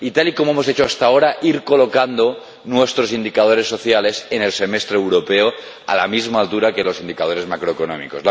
y, tal y como hemos hecho hasta ahora, ir colocando nuestros indicadores sociales en el Semestre Europeo a la misma altura que los indicadores macroeconómicos.